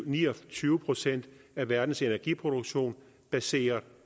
ni og tyve procent af verdens energiproduktion baseret